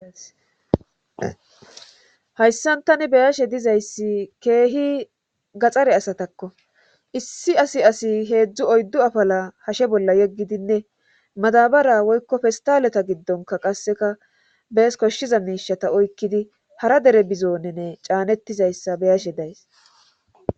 Hayssan tani beyashe dizayssi keehi gaxare asatakko issi asi asi heedzdzu oyddu afala hashe bolla yeggidinne madabara woykko festaleta giddonka qasseka bees koshshiza miishata oykkidi hara dere bizonenne caanettizayssa beyashe days.